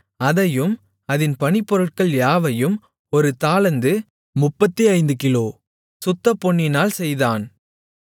அதையும் அதின் பணிப்பொருட்கள் யாவையும் ஒரு தாலந்து/ 35 கிலோ சுத்தப்பொன்னினால் செய்தான்